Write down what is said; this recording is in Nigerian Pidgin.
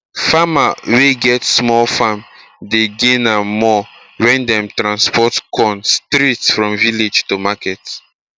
farmer wey get small farm dey gain am more when dem transport corn straight from village to market